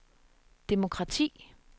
demokrati